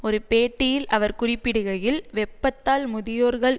ஒரு பேட்டியில் அவர் குறிப்பிடுகையில் வெப்பத்தால் முதியோர்கள்